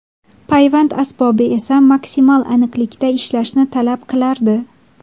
Payvand asbobi esa maksimal aniqlikda ishlashni talab qilardi.